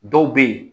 Dɔw bɛ yen